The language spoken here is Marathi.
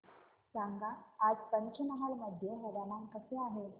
सांगा आज पंचमहाल मध्ये हवामान कसे आहे